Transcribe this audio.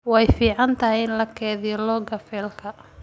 Way fiicantahay in la kaydiyo log-ka faylka.